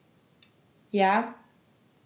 Ja?